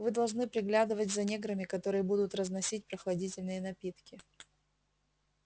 вы должны приглядывать за неграми которые будут разносить прохладительные напитки